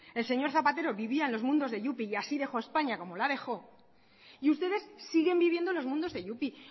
el señor zapatero vivía en los mundos de yupi y así dejó españa como la dejó y ustedes siguen viviendo en los mundos de yupi